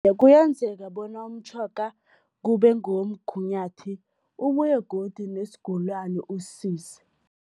Kuyenzeka bona umtjhoga kube ngowomgunyathi, ubuye godu nesigulani usisize.